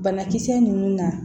Banakisɛ ninnu na